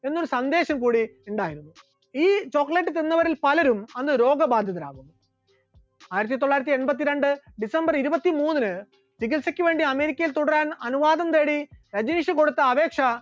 എന്ന സന്ദേശം കൂടി ഉണ്ടായിരുന്നു, ഈ chocolate തിന്നവരിൽ പലരും അന്ന് രോഗബാധിതരായി, ആയിരത്തിത്തൊള്ളായിരത്തി എണ്പത്തിരണ്ട്‍ december ഇരുപത്തിമൂന്നിന് ചികിത്സക്ക് വേണ്ടി അമേരിക്കയിൽ തുടരാൻ അനുവാദം തേടി രജനീഷ് കൊടുത്ത അപേക്ഷ